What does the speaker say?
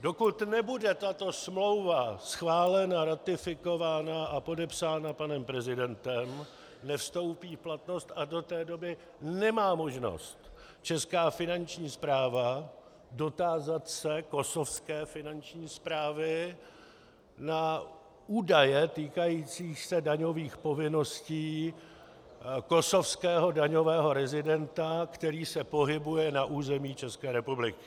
Dokud nebude tato smlouva schválena, ratifikována a podepsána panem prezidentem, nevstoupí v platnost a do té doby nemá možnost česká finanční správa dotázat se kosovské finanční správy na údaje týkající se daňových povinností kosovského daňového rezidenta, který se pohybuje na území České republiky.